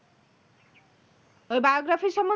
ওই biography সম্ম